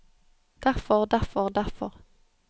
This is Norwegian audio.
derfor derfor derfor